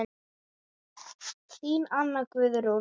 Þín Anna Guðrún.